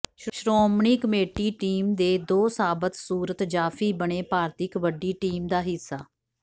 Shiromani committee team ਦੇ ਦੋ ਸਾਬਤ ਸੂਰਤ ਜਾਫੀ ਬਣੇ ਭਾਰਤੀ ਕਬੱਡੀ ਟੀਮ ਦਾ ਹਿੱਸਾ